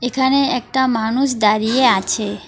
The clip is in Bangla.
এখানে একটা মানুষ দাঁড়িয়ে আছে।